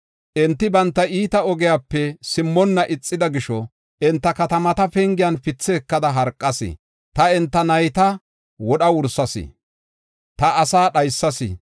Enti banta iita ogiyape simmonna ixida gisho enta katamata pengiyan pithe ekada harqas. Ta enta nayta wodha wursas; ta asaa dhaysas.